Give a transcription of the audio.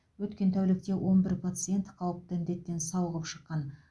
өткен тәуікте он бір пациент қауіпті індеттен сауығып шыққан